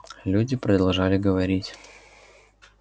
люди продолжали говорить